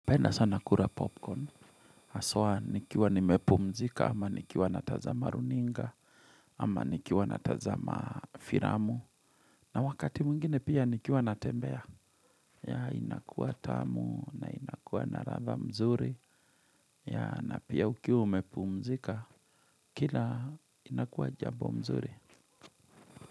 Napenda sana kura popcorn aswa nikiwa nimepumzika ama nikiwa natazama runinga ama nikiwa natazama firamu na wakati mwingine pia nikiwa natembea ya inakuwa tamu na inakuwa naradha mzuri ya na pia ukiwa umepumzika kila inakuwa jabo mzuri.